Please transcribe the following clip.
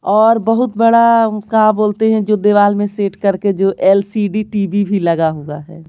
और बहुत बड़ा का बोलते हैं जो दीवाल में सेट करके जो एल_सी_डी टी_वी भी लगा हुआ है।